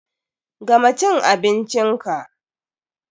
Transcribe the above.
Gama cin abincin ka!